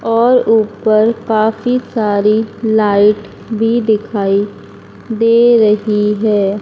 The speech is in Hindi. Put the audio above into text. और ऊपर काफी सारी लाइट भी दिखाई दे रहीं हैं।